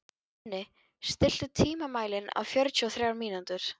Denni, stilltu tímamælinn á fjörutíu og þrjár mínútur.